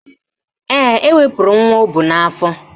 Ee, o wepuru nwa o bu n'afọ